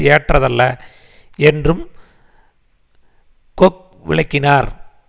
ஏற்றதல்ல என்றும் கொக் விளக்கினார்